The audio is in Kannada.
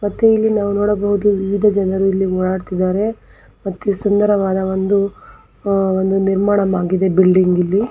ಮತ್ತು ಇಲ್ಲಿ ನಾವು ನೋಡಬಹುದು ವಿವಿಧ ಜನರು ಇಲ್ಲಿ ಓಡಾಡವುತ್ತಿದ್ದಾರೆ ಅತಿ ಸುಂದರವಾದ ಒಂದು ಒಂದು ನಿರ್ಮಾಣವಾಗಿದೆ ಬಿಲ್ಡಿಂಗ್ ಇಲ್ಲಿ.